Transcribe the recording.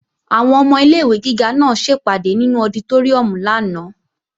Àwọn ọmọ ilé-ìwé gíga náà ṣèpàdé nínú ọditóríùm lánàá